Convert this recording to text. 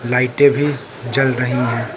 लाइटें भी जल रही है।